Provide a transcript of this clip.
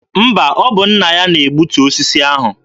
Mba, ọ bụ nna ya na-egbutu osisi ahụ.